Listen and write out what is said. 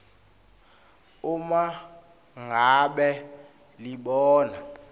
uma ngabe libona